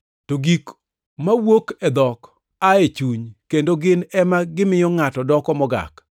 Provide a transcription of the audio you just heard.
To gik mawuok e dhok aa e chuny, kendo gin ema gimiyo ngʼato doko ‘mogak.’